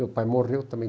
Meu pai morreu também